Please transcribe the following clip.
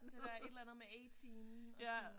Eller et eller andet med 18 og sådan